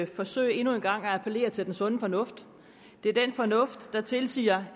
forsøge endnu en gang at appellere til den sunde fornuft det er den fornuft der tilsiger